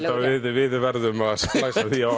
við verðum að splæsa því á